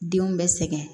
Denw bɛ sɛgɛn